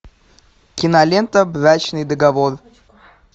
кинолента брачный договор